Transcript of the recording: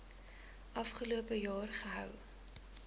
afgelope jaar gehou